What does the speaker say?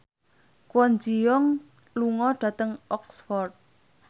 Kwon Ji Yong lunga dhateng Oxford